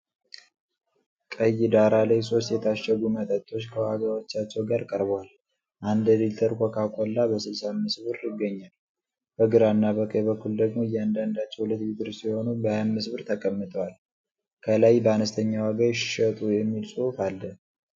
ቀይ ዳራ ላይ ሶስት የታሸጉ መጠጦች ከዋጋዎቻቸው ጋር ቀርበዋል። አንድ ሊትር ኮካ ኮላ በ65 ብር ይገኛል። በግራና በቀኝ በኩል ደግሞ እያንዳንዳቸው 2 ሊትር የሆኑ በ25 ብር ተቀምጠዋል። ከላይ "በአነስተኛ ዋጋ ይሽጡ!" የሚል ጽሁፍ አለ።